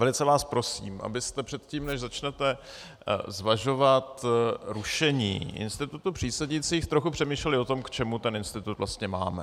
Velice vás prosím, abyste předtím, než začnete zvažovat rušení institutu přísedících, trochu přemýšleli o tom, k čemu ten institut vlastně máme.